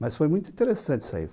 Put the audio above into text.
Mas foi muito interessante isso aí.